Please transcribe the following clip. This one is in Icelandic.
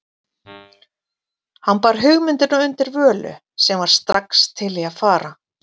Hann bar hugmyndina undir Völu, sem var strax til í að fara.